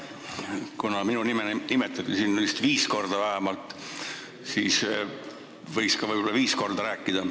Kuna minu nime nimetati viis korda vähemalt, siis võiks ma võib-olla ka viis korda rääkida.